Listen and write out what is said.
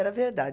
era verdade.